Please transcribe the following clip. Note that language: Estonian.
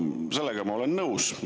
Sellega ma olen nõus.